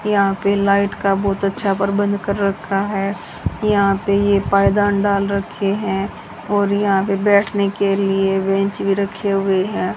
यहां पे लाइट का बहोत अच्छा प्रबंध कर रखा है यहां पे ये पायदान डाल रखे हैं और यहां पे बैठने के लिए बेंच भी रखे हुए हैं।